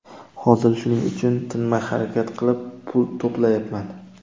Hozir shuning uchun tinmay harakat qilib, pul to‘playapman.